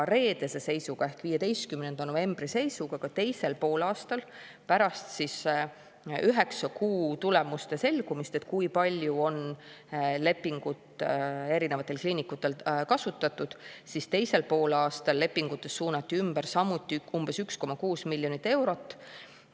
Reedese seisuga ehk 15. novembri seisuga ka teisel poolaastal pärast üheksa kuu tulemuste selgumist, kui palju on lepingu erinevatel kliinikutel kasutatud, teisel poolaastal lepingutest suunati ümber samuti umbes 1,6 miljonit eurot.